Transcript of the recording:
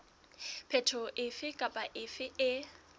phetoho efe kapa efe e